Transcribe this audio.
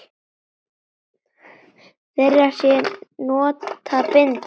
Þeirra sem nota bindi?